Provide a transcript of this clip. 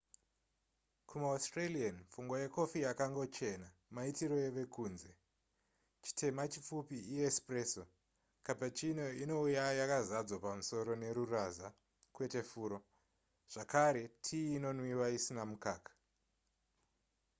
kumaaustralian pfungwa yekofi yakangochena maitiro evekunze. chitema chipfupi iespresso cappuccino inouya yakazadzwa pamusoro neruraza kwete furo zvakare tii inonwiwa isina mukaka